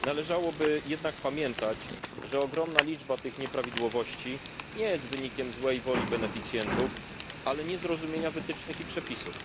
Należałoby jednak pamiętać, że ogromna liczba tych nieprawidłowości nie jest wynikiem złej woli beneficjentów, ale niezrozumienia wytycznych i przepisów.